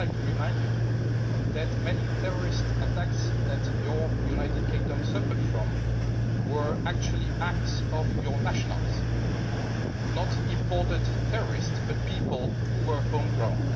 I would just like to remind you that many of the terrorist attacks that your United Kingdom has suffered were actually acts by your nationals not imported terrorists, but people who were home grown.